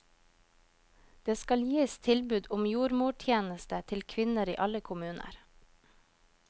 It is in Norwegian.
Det skal gis tilbud om jordmortjeneste til kvinner i alle kommuner.